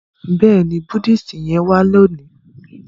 béèni Buddhist yén wa loni.